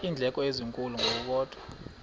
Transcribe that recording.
iindleko ezinkulu ngokukodwa